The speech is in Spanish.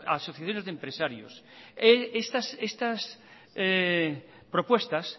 asociaciones de empresarios estas propuestas